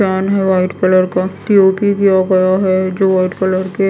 fan है white colour का P O P किया गया है जो व्हाइट कलर के--